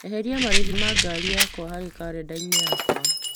Eheria marĩhi ma ngari yakwa harĩ karenda yakwa.